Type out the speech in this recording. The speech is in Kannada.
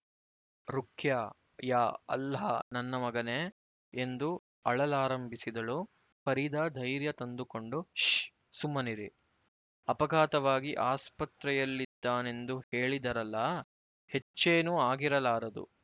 ರುಖ್ಯಾ ಯಾ ಅಲ್ಲಾಹ್ ನನ್ನ ಮಗನೇ ಎಂದು ಅಳಲಾರಂಭಿಸಿದಳು ಫರೀದಾ ಧೈರ್ಯ ತಂದುಕೊಂಡು ಶ್ ಸುಮ್ಮನಿರಿ ಅಪಘಾತವಾಗಿ ಆಸ್ಪತ್ರೆಯಲ್ಲಿದ್ದಾನೆಂದು ಹೇಳಿದರಲ್ಲ ಹೆಚ್ಚೇನೂ ಆಗಿರಲಾರದು